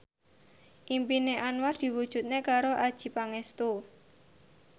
impine Anwar diwujudke karo Adjie Pangestu